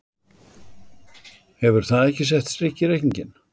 Hefur það ekki sett strik í reikninginn?